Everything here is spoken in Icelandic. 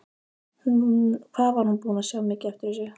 Hvað hún var búin að sjá mikið eftir þessu!